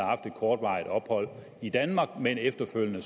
haft et kortvarigt ophold i danmark men efterfølgende